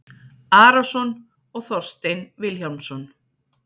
Arason og Þorstein Vilhjálmsson